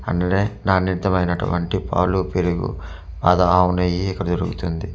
అన్నడే ననూత్య మైనట్టు వంటి పాలు పెరుగు అది ఆవు నెయ్యి ఇక్కడ దొరుకుతుంది.